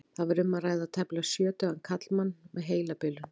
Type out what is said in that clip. Þar var um að ræða tæplega sjötugan karlmann með heilabilun.